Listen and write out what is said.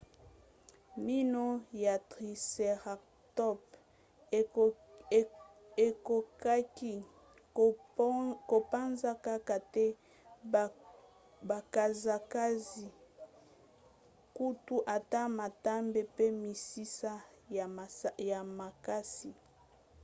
mino ya tricératops ekokaki kopanza kaka te bakasa kasi kutu ata matambe pe misisa ya makasi